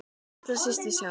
Allra síst við sjálf.